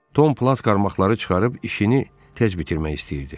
Tom plat qarmaqları çıxarıb işini tez bitirmək istəyirdi.